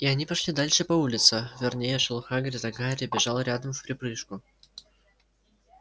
и они пошли дальше по улице вернее шёл хагрид а гарри бежал рядом вприпрыжку